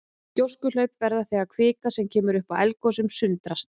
Gjóskuhlaup verða þegar kvika sem kemur upp í eldgosum sundrast.